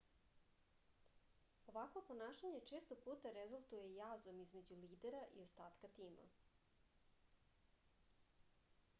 ovakvo ponašanje često puta rezultuje jazom između lidera i ostatka tima